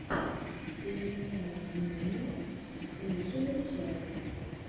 пиэнэумэниа лучшая часть